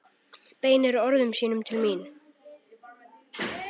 Beinir orðum sínum til mín.